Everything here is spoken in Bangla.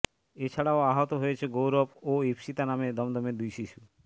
এছাড়াও আহত হয়েছে গৌরব ও ইপ্সিতা নামে দমদমের দুই শিশু